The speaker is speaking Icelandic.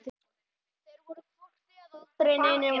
Þeir voru hvort eð er aldrei neinir mátar.